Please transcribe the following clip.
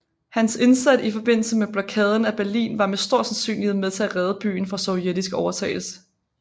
Hans indsats i forbindelse med Blokaden af Berlin var med stor sandsynlighed med til at redde byen fra sovjetisk overtagelse